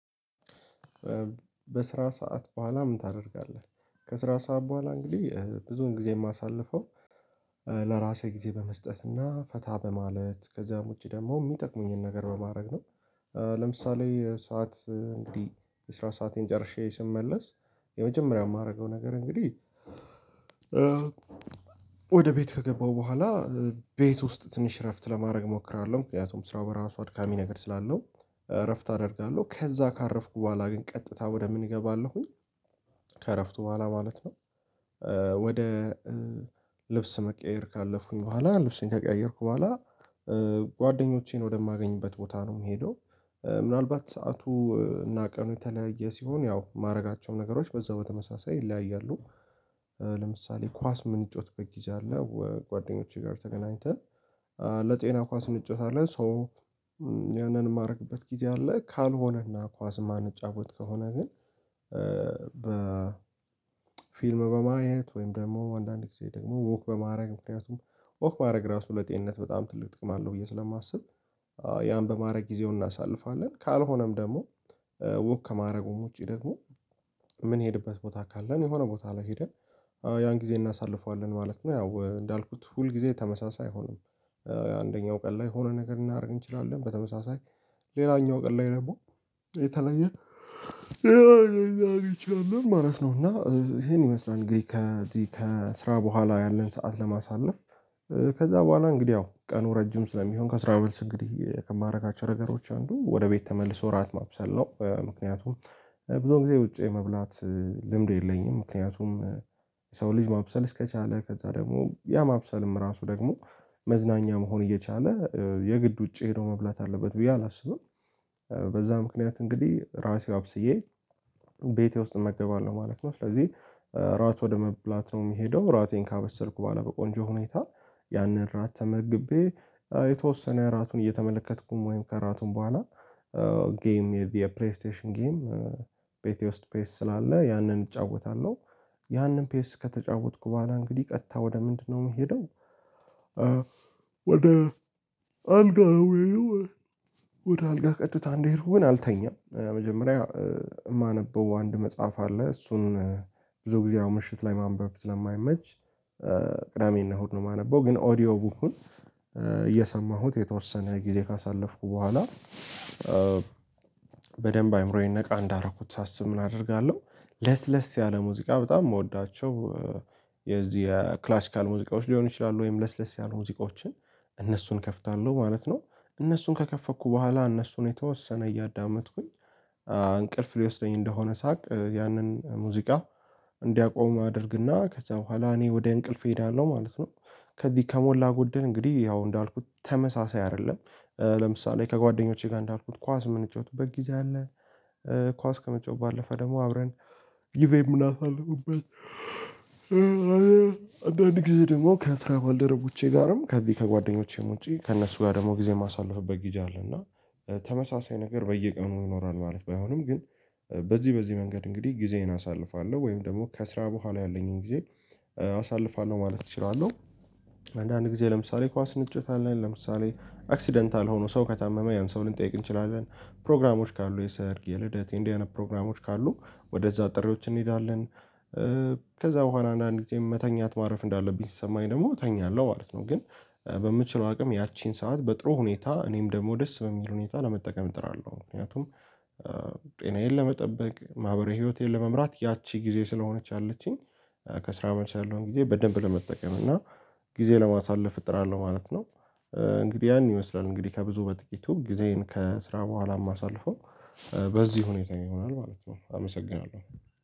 በስራ ሰዓት በኋላ ምን ታደርጋለህ? ከስራ ሰዓት በኋላ እንግዲህ ብዙ ጊዜ የማሳልፈው ለራሴ ጊዜ በመስጠት እና ፈታ በማለት ከዛም ውጪ ደግሞ የሚጠቅሙኝን ነገር በማድረግ ነው። ለምሳሌ ሰዓት እንግዲህ የስራ ሰአቴን ጨርሼ ስመለስ የመጀመሪያው የማደርገው ነገር እንግዲህ ወደ ቤት ከገባሁ በኋላ ቤት ውስጥ ትንሽ እረፍት ለማድረግ እሞክራለሁ። ምክንያቱም ስራው በራሱ አድካሚ ነገር ስላለው እረፍት አደርጋለሁ ከዛ ካረፍኩ በኋላ ግን ቀጥታ ወደ ምን እገባለሁኝ? ከእረፍቱ በኋላ ማለት ነው። ወደ ልብስ መቀየር ካለፉኝ በኋላ ልብስን ከቀየርኩ በኋላ ጓደኞቼን ወደማገኝበት ቦታ ነው የምሄደው። ምናልባት ሰዓቱ እና ቀኑ የተለያየ ሲሆን ያው ማድረጋቸውም ነገሮች በዛው በተመሳሳይ ይለያያሉ። ለምሳሌ ኳስ ምንጮት በጊዜ አለ ጓደኞቼ ጋር ተገናኝተን ለጤና ኳስ እንጮታለን ሶ ያንን የማደርግበት ጊዜ አለ። ካልሆነና ኳስ የማንጫወት ከሆነ ግን በ ፊልም በማየት ወይም ደግሞ አንዳንድ ጊዜ ደግሞ ወክ በማድረግ ምክንያቱም ወክ ማድረግ ራሱ ለጤንነት በጣም ትልቅ ጥቅም አለው ብዬ ስለማስብ ያን በማድረግ ጊዜውን እናሳልፋለን። ካልሆነም ደግሞ ውክ ከማድረጉም ውጪ ደግሞ ምን ሄድበት ቦታ ካለን የሆነ ቦታ ላይ ሄደን ያን ጊዜ እናሳልፈዋለን ማለት ነው ያው እንዳልኩት ሁል ጊዜ ተመሳሳይ አይሆንም። አንደኛው ቀን ላይ ሆነ ነገር እናደርግ እንችላለን በተመሳሳይ ሌላኛው ቀን ላይ ነበር የተለየ ነገር ልናረግ እንችላለንላል ማለት ነው። እና ይሄን ይመስላል ከዚህ ከስራ በኋላ ያለን ሰዓት ለማሳለፍ። ከዛ በኋላ እንግዲህ ያው ቀኑ ረጅም ስለሚሆን ከስራ በልስ እንግዲህ ከማድረግ አቻ ነገሮች አንዱ ወደ ቤት ተመልሶ ራት ማብሰል ነው ምክንያቱም ብዙ ጊዜ ውጪ የመብላት ልምድ የለኝም። ምክንያቱም የሰው ልጅ ማብሰል እስከቻለ ከዛ ደግሞ ያ ማብሰልም ራሱ ደግሞ መዝናኛ መሆን እየቻለ የግድ ውጪ ሄዶ መብላት አለበት ብዬ አላስብም። በዛ ምክንያት እንግዲህ ራሴ አብስዬ ቤቴ ውስጥ እመገባለሁ ማለት ነው። ስለዚህ ራሱ ወደ መብላት ነው የሚሄደው ራቴን ካመሰልኩ በኋላ በቆንጆ ሁኔታ ያንን እራት ተመግቤ የተወሰነ እራቱን እየተመለከትኩም ወይም ከእራቱም በኋላ ጌም የፕሌይ ስቴሽን ጌም ቤቴ ውስጥ ፔስ ስላለ ያንን እጫወታለሁ። ያንን ፔስ ከተጫወትኩ በኋላ እንግዲህ ቀጥታ ወደ ምንድነው የምሄደው? ወደ አልጋ ነው ምሄደው ማለት ነው። ወደ አልጋ ቀጥታ እንደሄድኩ ግን አልተኛም መጀመሪያ የማነበው አንድ መጽሐፍ አለ እሱን ብዙ ጊዜ አሁን ምሽት ላይ ማንበብ ስለማይመች ቅዳሜና እሁድ ነው የማነበው ግን ኦዲዮ ቡኩን እየሰማሁት የተወሰነ ጊዜ ካሳለፍኩ በኋላ በደንብ አይምሮዬን ነቃ እንዳረኩት ሳስብ እናደርጋለሁ። ለስለስ ያለ ሙዚቃ በጣም መውዳቸው የዚህ የክላሲካል ሙዚቃዎች ሊሆኑ ይችላሉ ወይም ለስለስ ያሉ ሙዚቃዎችን እነሱን ከፍታለሁ ማለት ነው። እነሱን ከከፈኩ በኋላ እነሱን የተወሰነ እያዳመጥኩኝ እንቅልፍ ሊወስደኝ እንደሆነ ሳቅ ያንን ሙዚቃ እንዲያቆም አደርግና ከዛ በኋላ እኔ ወደ እንቅልፍ እሄዳለሁ ማለት ነው። ከዚህ ከሞላ ጎደል እንግዲህ ያው እንዳልኩት ተመሳሳይ አይደለም። ለምሳሌ ከጓደኞቼ ጋር እንዳልኩት ኳስ የምንጫወቱበት ጊዜ አለ። ኳስ ከመጫወት ባለፈ ደግሞ አብረን ጊዜ የምናሳልፍበት ነገር አለ እና አንዳንድ ጊዜ ደግሞ ከትራባልደረቦቼ ጋርም ከዚ ጓደኞቼም ውጪ ከእነሱ ጋር ደግሞ ጊዜ የማሳልፍበት ጊዜ አለ። እና ተመሳሳይ ነገር በየቀኑ ይኖራል ማለት ባይሆንም ግን በዚህ በዚህ መንገድ እንግዲህ ጊዜዬን አሳልፋለሁ ወይም ደግሞ ከስራ በኋላ ያለኝን ጊዜ አሳልፋለሁ ማለት እችላለሁ። አንዳንድ ጊዜ ለምሳሌ ኳስ ንጭት አለን ለምሳሌ አክሲደንት አልሆነው ሰው ከታመመ ያን ሰው ልንጠይቅ እንችላለን ፕሮግራሞች ካሉ የሰርግ የልደት የእንደዚህ አይነት ፕሮግራሞች ካሉ ወደዛ ጥሪዎች እንሄዳለን። ከዛ በኋላ አንዳንድ ጊዜ መተኛት ማረፍ እንዳለብኝ ስሰማኝ ደግሞ እተኛለሁ ማለት ነው። ግን በምችለው አቅም ያቺን ሰዓት በጥሩ ሁኔታ እኔም ደግሞ ደስ በሚል ሁኔታ ለመጠቀም እጥራለሁ። ምክንያቱም ጤናዬን ለመጠበቅ ማህበራዊ ህይወቴን ለመምራት ያቺ ጊዜ ስለሆነች ያለችኝ ከስራ መልስ ያለውን ጊዜ በደንብ ለመጠቀም እና ጊዜ ለማሳለፍ እጥራለሁ ማለት ነው። እንግዲህ ያን ይመስላል እንግዲህ ከብዙ በጥቂቱ ጊዜን ከስራ በኋላ ማሳለፈው በዚህ ሁኔታ ይሆናል ማለት ነው። አመሰግናለሁ